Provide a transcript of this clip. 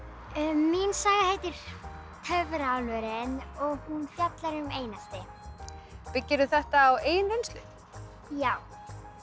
mín saga heitir Töfraálfurinn og fjallar um einelti byggirðu þetta á eigin reynslu já